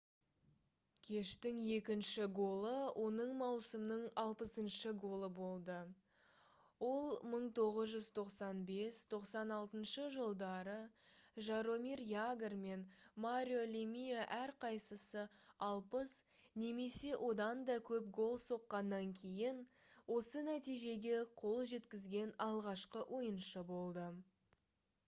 кештің екінші голы оның маусымның 60-шы голы болды ол 1995-96 жылдары жаромир ягр мен марио лемие әрқайсысы 60 немесе одан көп гол соққаннан кейін осы нәтижеге қол жеткізген алғашқы ойыншы болды